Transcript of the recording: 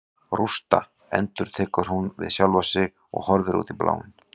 Rústa, endurtekur hún við sjálfa sig og horfir út í bláinn.